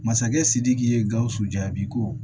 Masakɛ sidiki ye gawusu jaabi ko